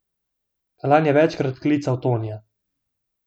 Kalan je večkrat klical Tonija.